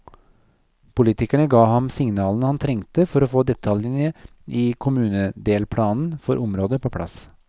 Politikerne ga ham signalene han trengte for å få detaljene i kommunedelplanen for området på plass.